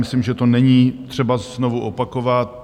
Myslím, že to není třeba znovu opakovat.